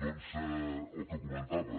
doncs el que comentava